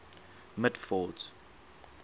mitford's